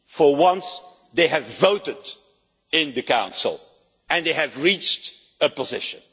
For once, they have voted in the Council and have reached a position.